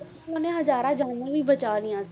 ਉਹਨਾਂ ਹਜ਼ਾਰਾਂ ਜਾਨਾਂ ਵੀ ਬਚਾ ਲਈਆਂ